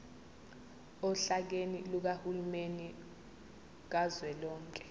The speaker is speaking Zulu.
ohlakeni lukahulumeni kazwelonke